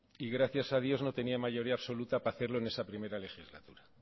y gracias a dios no tenía mayoría absoluta para hacerlo en está primera legislatura